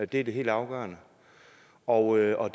det er det helt afgørende og og